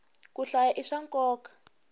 ku hlaya i swa nkoka